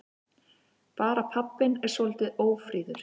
Bara pabbinn er svolítið ófríður.